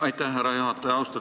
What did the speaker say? Aitäh, härra juhataja!